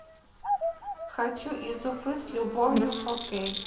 хочу из уфы с любовью фо кей